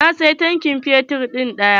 Na siyi tankin fetur ɗaya.